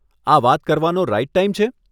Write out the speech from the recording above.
આ વાત કરવાનો રાઇટ ટાઇમ છે?